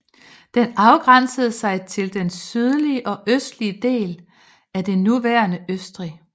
Den afgrænsede sig til den sydlige og østlige del af det nuværende Østrig